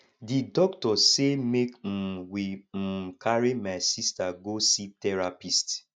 di doctor sey make um we um carry my sista go see therapist